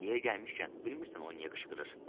Yeri gəlmişkən, bilmirsən o niyə qışqırır?